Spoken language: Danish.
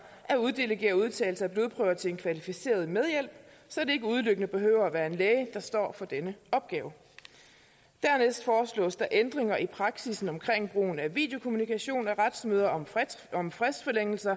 at uddelegere udtagelse af blodprøver til en kvalificeret medhjælp så det ikke udelukkende behøver at være en læge der står for denne opgave dernæst foreslås der ændringer i praksissen om brugen af videokommunikation i retsmøder om fristforlængelse